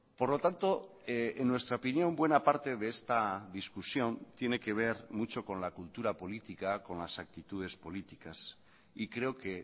por lo tanto en nuestra opinión buena parte de esta discusión tiene que ver mucho con la cultura política con las actitudes políticas y creo que